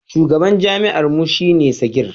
shugaban jami'ar mu shi ne Sagir